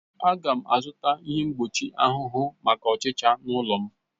Aga m azụta ihe mgbochi ahụhụ maka ọchịcha n'ụlọ m